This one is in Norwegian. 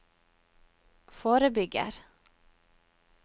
forebygger